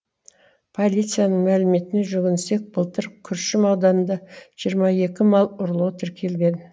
полицияның мәліметіне жүгінсек былтыр күршім ауданында жиырма екі мал ұрлығы тіркелген